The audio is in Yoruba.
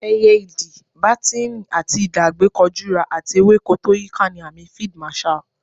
Ẹyẹ Idì, bátíìnì àti idà àgbékọjura, àti ewéko tó yíiká ni àmì Field Marshal.